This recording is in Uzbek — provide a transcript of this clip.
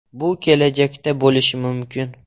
Bu kelajakda bo‘lishi mumkin.